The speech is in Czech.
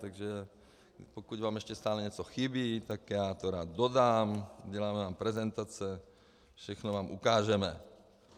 Takže pokud vám ještě stále něco chybí, tak já to rád dodám, uděláme vám prezentace, všechno vám ukážeme.